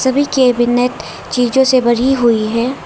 सभी कैबिनेट चीजों से भरी हुई है।